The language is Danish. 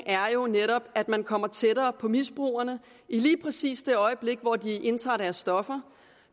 er jo netop at man kommer tættere på misbrugerne i lige præcis det øjeblik hvor de indtager deres stoffer